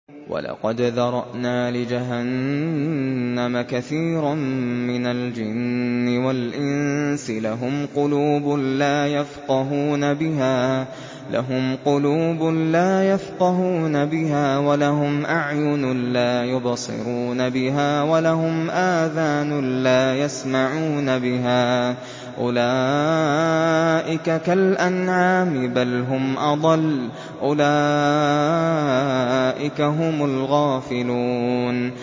وَلَقَدْ ذَرَأْنَا لِجَهَنَّمَ كَثِيرًا مِّنَ الْجِنِّ وَالْإِنسِ ۖ لَهُمْ قُلُوبٌ لَّا يَفْقَهُونَ بِهَا وَلَهُمْ أَعْيُنٌ لَّا يُبْصِرُونَ بِهَا وَلَهُمْ آذَانٌ لَّا يَسْمَعُونَ بِهَا ۚ أُولَٰئِكَ كَالْأَنْعَامِ بَلْ هُمْ أَضَلُّ ۚ أُولَٰئِكَ هُمُ الْغَافِلُونَ